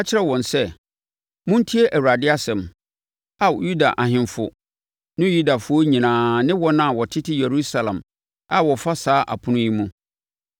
Ka kyerɛ wɔn sɛ, ‘Montie Awurade asɛm, Ao Yuda ahemfo ne Yudafoɔ nyinaa ne wɔn a wɔtete Yerusalem a wɔfa saa apono yi mu.